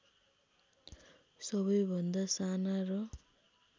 सबैभन्दा साना र